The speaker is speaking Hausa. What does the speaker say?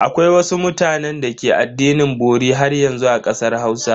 Akwai wasu mutanen da ke addinin bori haryanzu a kasar Hausa.